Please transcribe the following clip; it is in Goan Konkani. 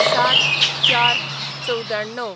०७/०४/९४